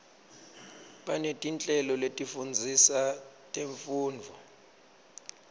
banetinhlelo letifundzisa temfundvo